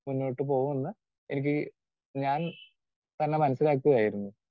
Speaker 2 മുന്നോട്ടുപോകുമെന്ന് എനിക്ക് ഞാൻ തന്നെ മനസ്സിലാക്കുകയായിരുന്നു.